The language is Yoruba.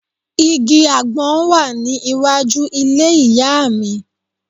Igi àgbọn wà ní iwájú ilé ìyá à mi